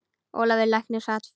Ólafur læknir sat fram í.